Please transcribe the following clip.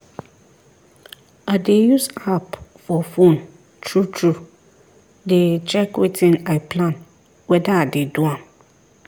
i dey use app for phone true true dey check wetin i plan weda i dey do am